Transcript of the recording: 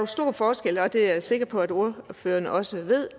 stor forskel og det er jeg sikker på at ordføreren også ved